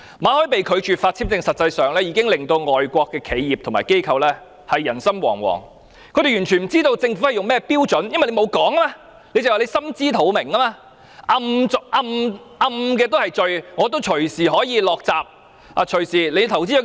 馬凱被拒發簽證，實際上已令外國企業和機構人心惶惶，他們完全不知道政府採納甚麼標準，因為政府沒有說明理由，只是說"心知肚明"。